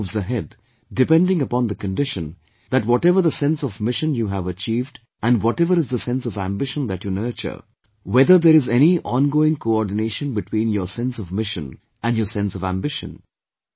Life moves ahead depending upon the condition that whatever the sense of mission you have achieved and whatever is the sense of ambition that you nurture, whether there is any ongoing coordination between your sense of mission and your sense of ambition